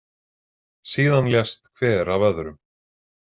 Síðan lést hver af öðrum.